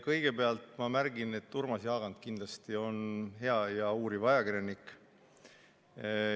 Kõigepealt ma märgin, et Urmas Jaagant on kindlasti hea uuriv ajakirjanik.